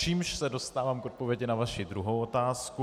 Čímž se dostávám k odpovědi na vaši druhou otázku.